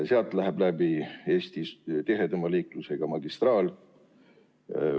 Linnast läheb läbi üks Eestis tihedaima liiklusega magistraal.